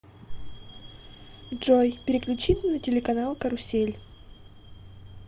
джой переключить на телеканал карусель